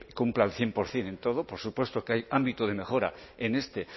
cumpla al cien por ciento en todo por supuesto que hay ámbito de mejora en este